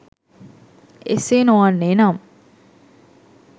එසේ නොවන්නේ නම්